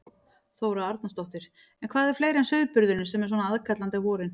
Þóra Arnórsdóttir: En hvað er fleira en sauðburðurinn sem er svona aðkallandi á vorin?